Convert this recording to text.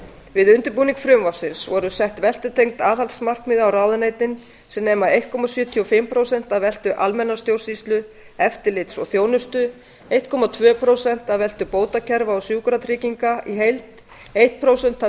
við undirbúning frumvarpsins voru sett veltutengd aðhaldsmarkmið á ráðuneytin sem nema einn komma sjötíu og fimm prósent af veltu almennrar stjórnsýslu eftirlits og þjónustu eins komma tvö prósent af veltu bótakerfa og sjúkratrygginga í heild eitt prósent af